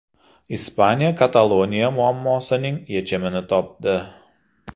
Ispaniya Kataloniya muammosining yechimini topdi.